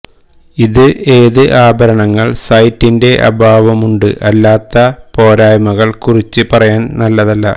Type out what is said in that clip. ഇത് ഏത് ആഭരണങ്ങൾ സൈറ്റിന്റെ അഭാവമുണ്ട് അല്ലാത്ത പോരായ്മകൾ കുറിച്ച് പറയാൻ നല്ലതല്ല